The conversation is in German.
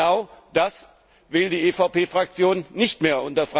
Genau das will die EVP Fraktion nicht mehr.